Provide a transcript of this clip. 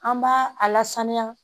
An b'a a lasaniya